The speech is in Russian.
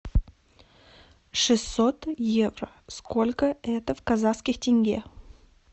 шестьсот евро сколько это в казахских тенге